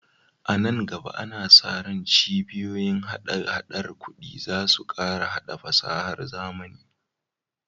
A nan gaba, ana sa ran cibiyoyin hada-hadar kuɗi za su ƙara haɗa fasahar zamani.